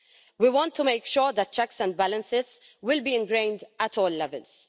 We want to make sure that checks and balances will be ingrained at all levels.